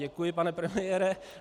Děkuji, pane premiére.